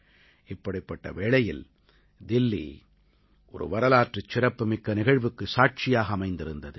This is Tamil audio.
இப்படிப்பட்ட வேளையில் தில்லி ஒரு வரலாற்று சிறப்புமிக்க நிகழ்வுக்கு சாட்சியாக அமைந்திருந்தது